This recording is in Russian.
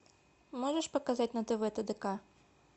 можешь показать на тв тдк